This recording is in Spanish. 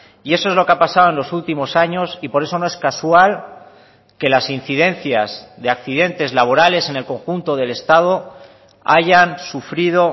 y eso es lo que ha pasado en los últimos años y por eso no es casual que las incidencias de accidentes laborales en el conjunto del estado hayan sufrido